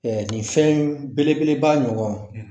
gil fɛn belebeleba ɲɔgɔn